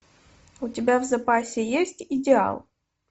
у тебя в запасе есть идеал